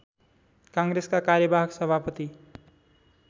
काङ्ग्रेसका कार्यवाहक सभापति